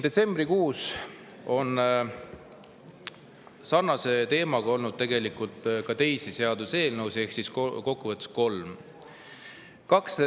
Detsembrikuus on sarnasel teemal olnud ka teisi seaduseelnõusid, ehk kokkuvõttes kolm seaduseelnõu.